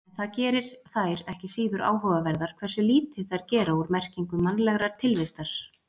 En það gerir þær ekki síður áhugaverðar hversu lítið þær gera úr merkingu mannlegrar tilvistar.